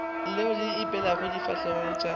leo le ipeilego difahlegong tša